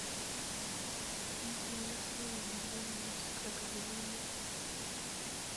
интересные видео с крокодилами